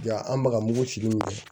Ya an baga mugu sigilen ye